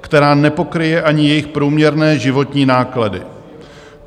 která nepokryje ani jejich průměrné životní náklady.